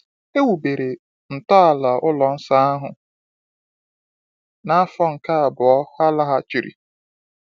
E wubere ntọala ụlọ nsọ ahụ n’afọ nke abụọ ha laghachiri.